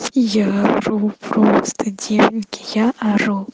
я ору просто девки я ору